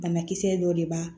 Banakisɛ dɔ de b'a